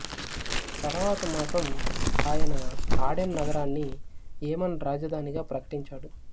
తరువాత మాసం ఆయన ఆడెన్ నగరాన్ని యెమన్ రాజధానిగా ప్రకటించాడు